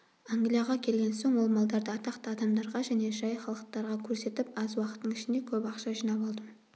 англияға келген соң ол малдарды атақты адамдарға және жай халықтарға көрсетіп аз уақыттың ішінде көп ақша жинап алдым